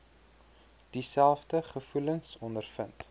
dieselfde gevoelens ondervind